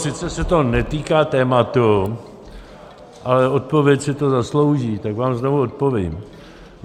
Sice se to netýká tématu, ale odpověď si to zaslouží, tak vám znovu odpovím.